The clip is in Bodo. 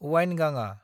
वाइनगांआ